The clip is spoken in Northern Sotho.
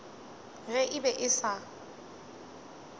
ge e be e sa